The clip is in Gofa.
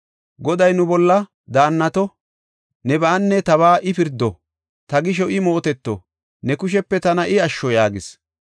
Goday nu bolla daannato; nebaanne tabaa I pirdo; ta gisho I mooteto; ne kushepe tana I asho” yaagis.